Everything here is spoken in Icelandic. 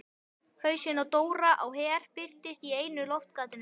Hausinn á Dóra á Her birtist í einu loftgatinu.